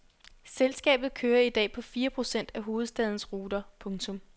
Selskabet kører i dag på fire procent af hovedstadens ruter. punktum